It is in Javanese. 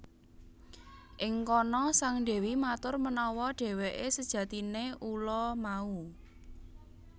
Ing kana sang dewi matur menawa dheweke sejatine ula mau